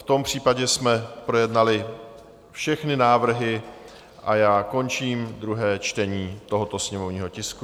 V tom případě jsme projednali všechny návrhy a já končím druhé čtení tohoto sněmovního tisku.